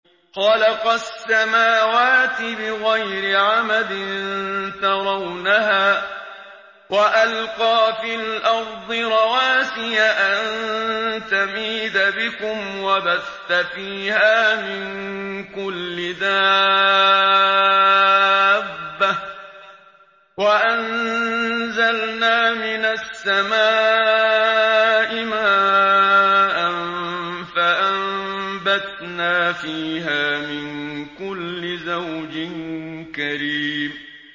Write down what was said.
خَلَقَ السَّمَاوَاتِ بِغَيْرِ عَمَدٍ تَرَوْنَهَا ۖ وَأَلْقَىٰ فِي الْأَرْضِ رَوَاسِيَ أَن تَمِيدَ بِكُمْ وَبَثَّ فِيهَا مِن كُلِّ دَابَّةٍ ۚ وَأَنزَلْنَا مِنَ السَّمَاءِ مَاءً فَأَنبَتْنَا فِيهَا مِن كُلِّ زَوْجٍ كَرِيمٍ